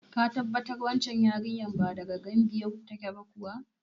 Ka tabbatar wancan yarinya ba daga Gambiya ba kuwa?